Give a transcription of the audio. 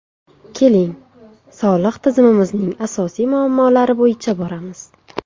Keling, soliq tizimimizning asosiy muammolari bo‘yicha boramiz.